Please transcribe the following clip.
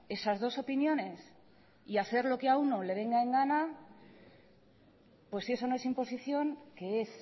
esas dos opiniones y hacer lo que a uno le venga en gana pues si eso no es imposición qué es